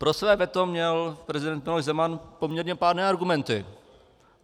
Pro své veto měl prezident Miloš Zeman poměrně pádné argumenty.